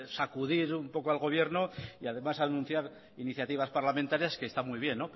sacudir un poco al gobierno y además anuncias iniciativas parlamentarias que están muy bien